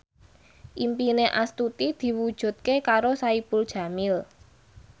impine Astuti diwujudke karo Saipul Jamil